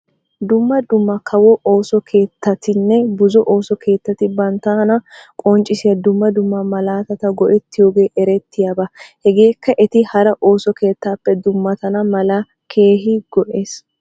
Dumma dumma kawo ooso keettatinne buzo ooso keettati banttana qonccissiya dumma dumma malaatata go'ettiyoogee eretiyaaba. Hegeekka eti hara ooso keettaappe dummatana mala keehi go'es.